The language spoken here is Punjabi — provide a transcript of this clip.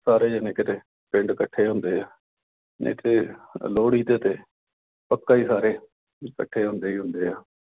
ਸਾਰੇ ਜਾਣੇ ਕਿਤੇ ਪਿੰਡ ਇਕੱਠੇ ਹੁੰਦੇ ਆ। ਨਹੀਂ ਤੇ ਲੋਹੜੀ ਤੇ ਤਾਂ ਪੱਕਾ ਹੀ ਸਾਰੇ ਇਕੱਠੇ ਹੁੰਦੇ ਈ ਹੁੰਦੇ ਆ।